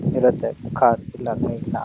ಇರುತ್ತೆ ಕಾರ್ ಇಲ್ಲಾಂದ್ರೆ ಇಲ್ಲ.